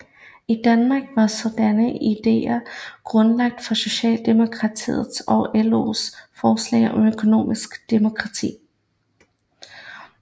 I Danmark var sådanne ideer grundlaget for Socialdemokratiets og LOs forslag om Økonomisk demokrati